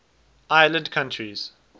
island countries